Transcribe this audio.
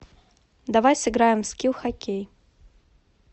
давай сыграем в скил хоккей